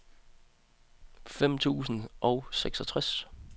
femten tusind og seksogtres